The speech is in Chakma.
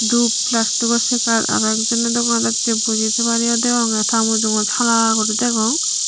dup plastico chigar aro ek jone dogan docche buji tebar ye degonge ta mujot hala guri degong.